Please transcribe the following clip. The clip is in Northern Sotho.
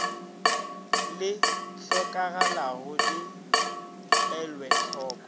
le hlokagalago di elwe hloko